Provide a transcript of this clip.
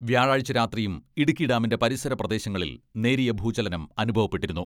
വ്യാഴാഴ്ച രാത്രിയും ഇടുക്കി ഡാമിന്റെ പരിസര പ്രദേശങ്ങളിൽ നേരിയ ഭൂചലനം അനുഭവപ്പെട്ടിരുന്നു.